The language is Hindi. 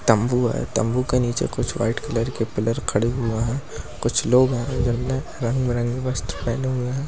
तम्बू है तम्बू के नीचे कुछ वाइट कलर के पिलर खड़े हुए है। कुछ लोग हैं इधर रंग बिरंगे वस्त्र पहने हुए हैं।